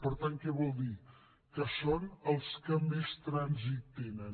per tant què vol dir que són els que més trànsit tenen